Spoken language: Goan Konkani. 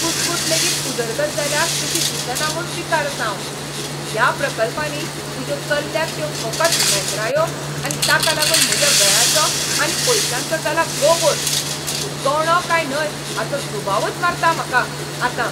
कुसकूट लेगीत उदरगत जाल्या कशी दिसना म्हूण पिकार आसां हांव. ह्या प्रकल्पांनी तुज्यो चल्ल्यात त्यो फकत मेथरायो आनी ताका लागून म्हज्या वेळाचो आनी पयशांचो जाला गोबोर, तूं गंवडो काय न्हय हाचो दुबावच मारता म्हाका आतां.